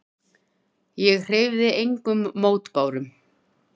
Ég hreyfði engum mótbárum.